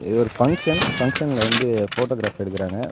இது ஒரு ஃபங்ஷன் ஃபங்ஷன்ல வந்து போட்டோகிராப் எடுக்குறாங்க.